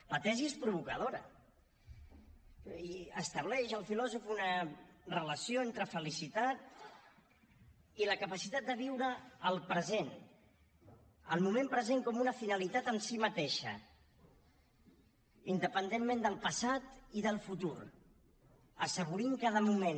la tesi és provocadora i estableix el filòsof una relació entre felicitat i la capacitat de viure el present el moment present com una finalitat en si mateixa independentment del passat i del futur assaborint cada moment